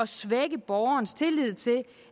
svække borgernes tillid til